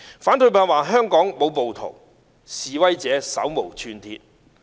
反對派說香港沒有暴徒，示威者手無寸鐵。